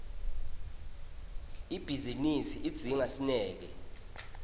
ibhizinisi idzinga sineke